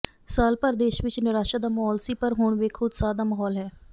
ਸਾਲ ਭਰ ਦੇਸ਼ ਵਿਚ ਨਿਰਾਸ਼ਾ ਦਾ ਮਾਹੌਲ ਸੀ ਪਰ ਹੁਣ ਵੇਖੋ ਉਤਸ਼ਾਹ ਦਾ ਮਾਹੌਲ ਹੈ